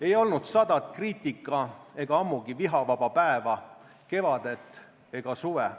Ei olnud sadat kriitika- ega ammugi vihavaba päeva, kevadet ega suve.